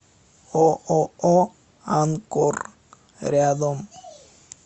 ооо анкор рядом